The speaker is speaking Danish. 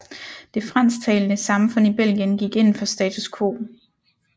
Det fransktalende samfund i Belgien gik ind for status quo